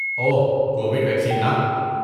اوہ، Covid vaccine نا؟